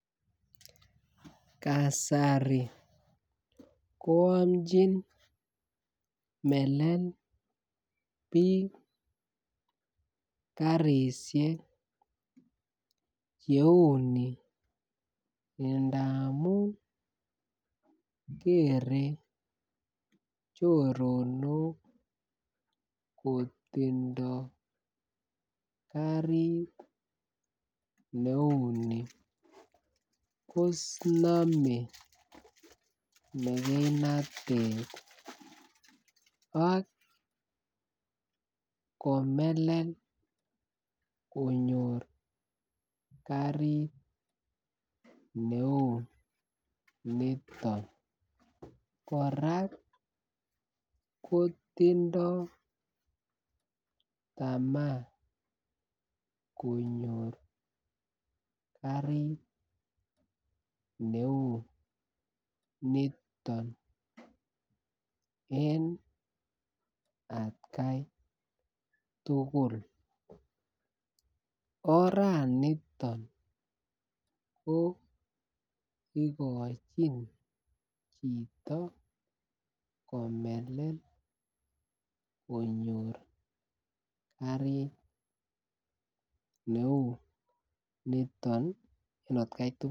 Kasari ko amchin melel biik garishek che uuni ngamun keree choronok kotindo garit neuu ni konome mekeinatet ak komelel konyor garit neuu niton koraa kotindo tamaa konyor garit neuu niton en atkai tugul. Oraniton ko igochin chito komelel konyor garit neuu niton atkai tugul